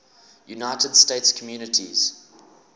united states communities